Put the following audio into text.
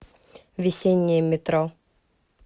весеннее метро